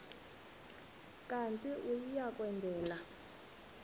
kanti uia kwendela